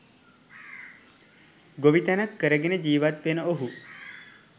ගොවිතැනක් කරගෙන ජීවත් වෙන ඔහු